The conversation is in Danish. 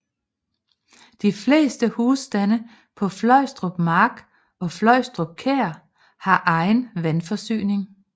De fleste husstande på Fløjstrup Mark og Fløjstrup Kær har egen vandforsyning